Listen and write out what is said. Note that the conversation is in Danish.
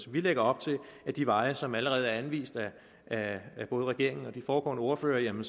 vi lægger op til ad de veje som allerede er anvist af både regeringen og de foregående ordførere en